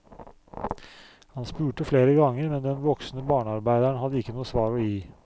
Han spurte flere ganger, men den voksne barnearbeideren hadde ikke noe svar å gi.